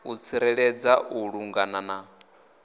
u tsireledza u vhulunga na